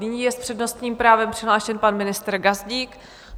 Nyní je s přednostním právem přihlášen pan ministr Gazdík.